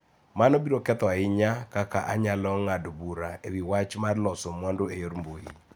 Mano biro ketho ahinya kaka anyalo ng�ado bura e wi wach mar loso mwandu e yor mbui.